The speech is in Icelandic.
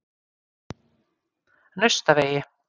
Naustavegi